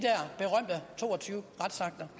to og tyve retsakter